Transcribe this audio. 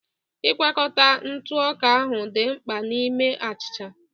Ịgwakọta ntụ ọka ahụ dị mkpa n'ime achịcha